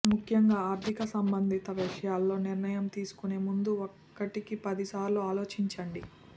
ముఖ్యంగా ఆర్థిక సంబంధిత విషయాల్లో నిర్ణయం తీసుకునే ముందు ఒకటికి పది సార్లు ఆలోచించండి